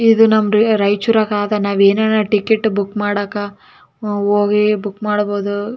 ಇದು ನಮ್ಮ ರಾ ರಾಯಚೂರಗಾದ ನಾವ ಏನಾರ ಟಿಕೆಟ್ ಬುಕ್ ಮಾಡಾಕ ನಾವು ಹೋಗಿ ಬುಕ್ ಮಾಡಬೋದು.